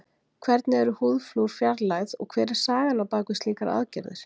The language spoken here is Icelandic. hvernig eru húðflúr fjarlægð og hver er sagan á bak við slíkar aðgerðir